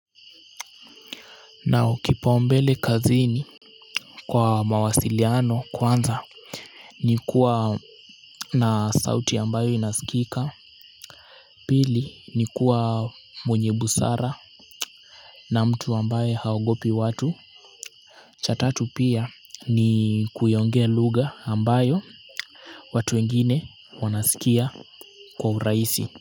Na ukipao mbele kazini, kwa mawasiliano kwanza, ni kuwa na sauti ambayo inasikika pili, ni kuwa, mwenye busara na mtu ambaye haogopi watu cha tatu pia, ni kuyaongea lugha ambayo watu wengine wanasikia kwa urahisi.